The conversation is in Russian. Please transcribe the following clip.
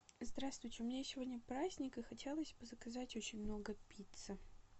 здравствуйте у меня сегодня праздник и хотелось бы заказать очень много пиццы